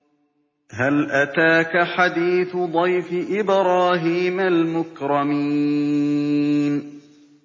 هَلْ أَتَاكَ حَدِيثُ ضَيْفِ إِبْرَاهِيمَ الْمُكْرَمِينَ